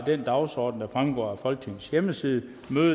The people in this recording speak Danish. den dagsorden der fremgår af folketingets hjemmeside